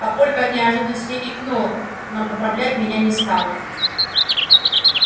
папулька от неожиданности икнул но поправлять меня не стал